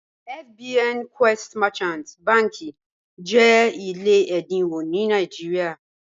FBN Quest Merchant bànḳì jẹ́ ilẹ̀ ẹ̀dínwọ̀ ní Nàìjíríà.